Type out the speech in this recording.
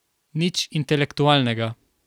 Nič intelektualnega.